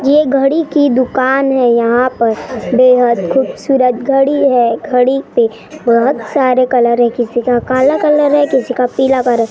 यह घड़ी की दुकान है यहाँ पर बेहद खूबसूरत घड़ी है घड़ी पे बहुत सारे कलर है किसी का काला कलर है किसी का पीला कलर --